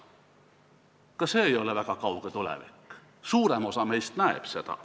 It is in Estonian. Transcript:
Ka see ei ole väga kauge tulevik, suurem osa meist näeb seda.